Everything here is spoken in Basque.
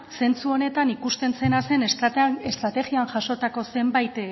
zentzu honetan ikusten zena zen estrategian jasotako zenbait